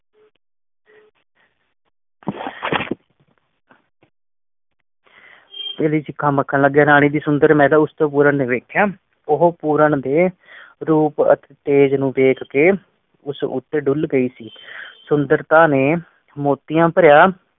ਚਿੜੀ-ਛਿੱਕਾ ਮੱਖਣ ਲੱਗੇ ਰਾਣੀ ਦੀ ਸੁੰਦਰ ਪੂਰਨ ਨੇ ਵੇਖਿਆ ਉਹ ਪੂਰਨ ਦੇ ਰੂਪ ਅਤੇ ਤੇਜ ਨੂੰ ਵੇਖ ਕੇ ਉਸ ਉਤੇ ਡੁਲ ਗਈ ਸੀ। ਸੁੰਦਰਤਾ ਨੇ ਮੋਤੀਆਂ ਬਰੀਆ